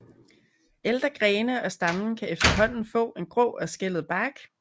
Ældre grene og stammen kan efterhånden få en grå og skællet bark